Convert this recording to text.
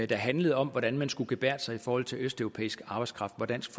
der handlede om hvordan man skulle gebærde sig i forhold til østeuropæisk arbejdskraft var dansk